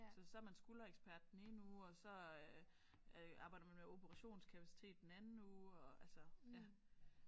Så så er man skulderekspert den ene uge og så øh øh arbejder man med operationskapacitet den anden uge og altså ja